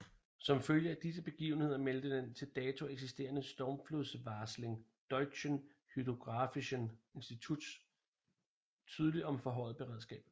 Som følge af disse begivenheder meldte den til dato eksisterende stormflodsvarsling Deutschen Hydrographischen Institutes tydeligt om forhøjet beredskab